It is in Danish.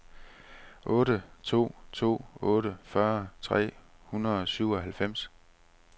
otte to to otte fyrre tre hundrede og syvoghalvfems